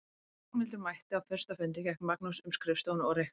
Þegar Ragnhildur mætti á fyrsta fundinn gekk Magnús um skrifstofuna og reykti.